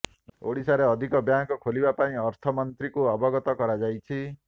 ଓଡ଼ିଶାରେ ଅଧିକ ବ୍ୟାଙ୍କ ଖୋଲିବା ପାଇଁ ଅର୍ଥମନ୍ତ୍ରୀଙ୍କୁ ଅବଗତ କରାଯାଇଛି